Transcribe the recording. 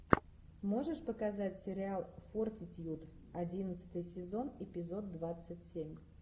можешь показать сериал фортитьюд одиннадцатый сезон эпизод двадцать семь